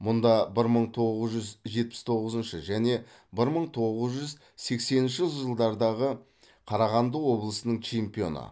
мұнда бір мың тоғыз жүз жетпіс тоғызыншы және бір мың тоғыз жүз сексенінші жылдардағы қарағанды облысының чемпионы